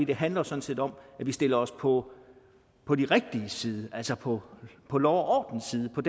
det handler sådan set om at vi stiller os på på de rigtiges side altså på på lov og orden siden på